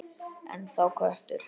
Ennþá köttur.